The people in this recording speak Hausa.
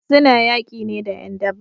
Suna yaki ne da 'yan daba